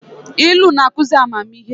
Ilu na-akụzị amamihe